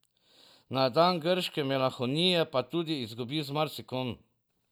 Na dan grške melanholije pa tudi izgubi z marsikom.